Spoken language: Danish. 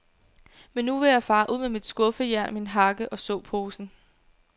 Men nu vil jeg fare ud med mit skuffejern, min hakke og såposen.